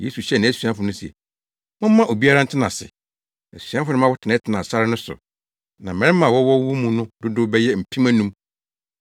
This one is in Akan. Yesu hyɛɛ nʼasuafo no se, “Momma obiara ntena ase.” Asuafo no ma wɔtenatenaa sare no so. Na mmarima a wɔwɔ wɔn mu no dodow bɛyɛ mpem anum.